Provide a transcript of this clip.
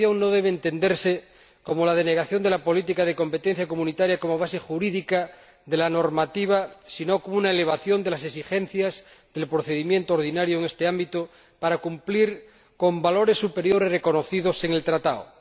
Esta posición no debe entenderse como la denegación de la política de competencia comunitaria como base jurídica de la normativa, sino como una elevación de las exigencias del procedimiento ordinario en este ámbito para cumplir con valores superiores reconocidos en el Tratado.